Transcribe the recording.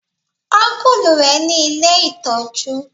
Ọ́nkùlù rẹ ní ilé ìtọ́jú